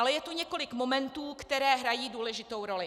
Ale je tu několik momentů, které hrají důležitou roli.